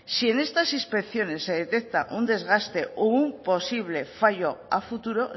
si en estas inspecciones se detecta un desgaste o un posible fallo a futuro